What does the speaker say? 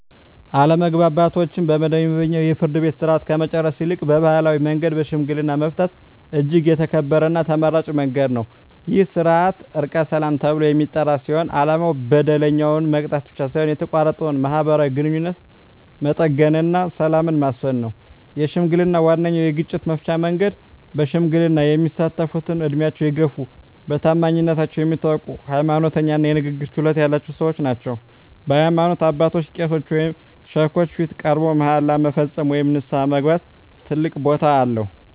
አለመግባባቶችን በመደበኛው የፍርድ ቤት ሥርዓት ከመጨረስ ይልቅ በባሕላዊ መንገድ በሽምግልና መፍታት እጅግ የተከበረና ተመራጭ መንገድ ነው። ይህ ሥርዓት "ዕርቀ ሰላም" ተብሎ የሚጠራ ሲሆን፣ ዓላማው በደለኛውን መቅጣት ብቻ ሳይሆን የተቋረጠውን ማኅበራዊ ግንኙነት መጠገንና ሰላምን ማስፈን ነው። ሽምግልና ዋነኛው የግጭት መፍቻ መንገድ ነው። በሽምግልና የሚሳተፍትም ዕድሜያቸው የገፋ፣ በታማኝነታቸው የሚታወቁ፣ ሃይማኖተኛ እና የንግግር ችሎታ ያላቸው ሰዎች ናቸው። በሃይማኖት አባቶች (ቄሶች ወይም ሼኮች) ፊት ቀርቦ መሃላ መፈጸም ወይም ንስሐ መግባት ትልቅ ቦታ አለው።